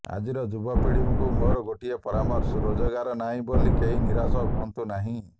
ଆଜିର ଯୁବପିଢ଼ିଙ୍କୁ ମୋର ଗୋଟିଏ ପରାମର୍ଶ ରୋଜଗାର ନାହିଁ ବୋଲି କେହି ନିରାଶ ହୁଅନ୍ତୁ ନାହିଁ